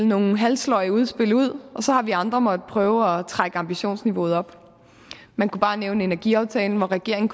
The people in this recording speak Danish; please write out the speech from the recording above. nogle halvsløje udspil og så har vi andre måttet prøve at trække ambitionsniveauet op man kunne bare nævne energiaftalen hvor regeringen